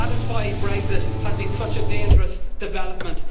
That is why Brexit has been such a dangerous development.